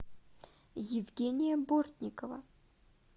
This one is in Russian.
евгения бортникова